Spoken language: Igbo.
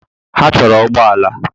Ha chọrọ ụgbọ ala